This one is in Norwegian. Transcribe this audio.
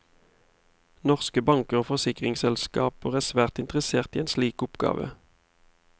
Norske banker og forsikringsselskaper er svært interesserte i en slik oppgave.